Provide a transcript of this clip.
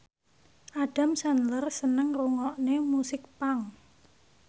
Adam Sandler seneng ngrungokne musik punk